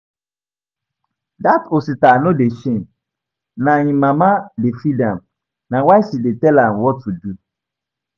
Dat Osita no dey shame, na im mama dey feed am, na why she dey tell am what to do